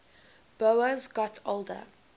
boas got older